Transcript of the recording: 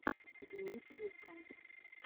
дмитрий к